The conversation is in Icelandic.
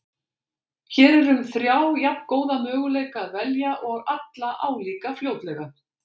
Hér er um þrjá jafngóða möguleika að velja og alla álíka fljótlega.